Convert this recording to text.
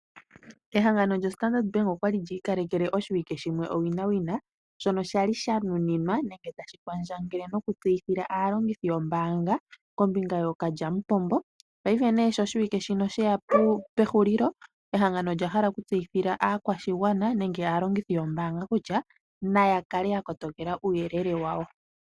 Ehangano lyo Standard Bank okwali lyi ikalekele oshiwike shimwe owina wina, shono sha li sha nuninwa nenge tashi kwandjangele noku tseyithila aalongithi yombaanga kombinga yookalyamupombo. Paife nee sho oshiwike shino sheya pehulilo, ehangano olya hala okutseyithila aakwashigwana nenge aalongithi yombaanga kutya naya kale ya kotokela uuyelele wayo.